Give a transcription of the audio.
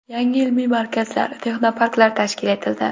Yangi ilmiy markazlar, texnoparklar tashkil etildi.